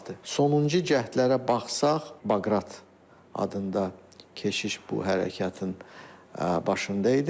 Sonuncu cəhdlərə baxsaq, Baqrat adında keşiş bu hərəkatın başında idi.